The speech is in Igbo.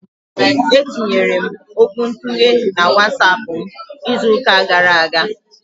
E tinyere m okwuntughe na WatsAapụ m izụka gara aga.